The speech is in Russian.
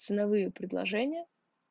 ценовые предложения